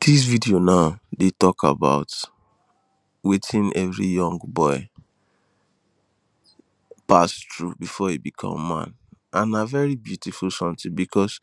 This video now dey talk about wetin every young boy pass through before e become man and na very beautiful something because